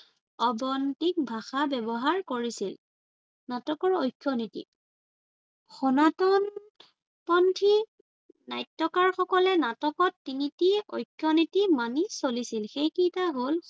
অবন্তীক ভাষা ব্য়ৱহাৰ কৰিছিল। নাটকৰ ঐক্য়নীতি সনাতন পন্থী নাট্য়কাৰসকলে নাটকত তিনিটি ঐক্য়নীতি মানি চলিছিল। সেইকেইটা হল-